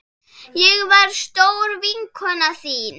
Ég var stór vinkona þín.